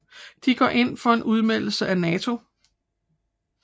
De går ind for en udmeldelse af NATO